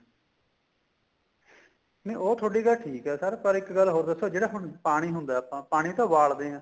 ਨਹੀਂ ਉਹ ਗੱਲ ਤੁਹਾਡੀ ਗੱਲ ਠੀਕ ਏ sir ਪਰ ਇੱਕ ਗੱਲ ਹੋਰ ਦੱਸੋ ਜਿਹੜਾ ਹੁਣ ਪਾਣੀ ਹੁੰਦਾ ਆਪਾਂ ਪਾਣੀ ਤਾਂ ਉਬਾਲਦੇ ਆ